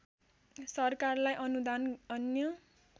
सरकारलाई अनुदान अन्य